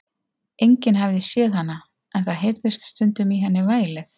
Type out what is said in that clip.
Enginn hafði séð hana, en það heyrðist stundum í henni vælið.